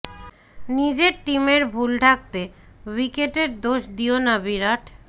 নিজের টিমের ভুল ঢাকতে উইকেটের দোষ দিও না বিরাট